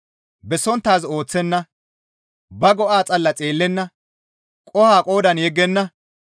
bessonttaaz ooththenna; ba go7a xalla xeellenna; qoho qoodan yeggenna.